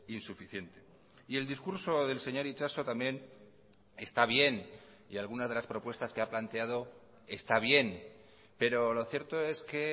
insuficiente y el discurso del señor itxaso también está bien y algunas de las propuestas que ha planteado está bien pero lo cierto es que